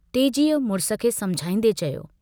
तेजीअ मुड़िस खे समुझाईन्दे चयो।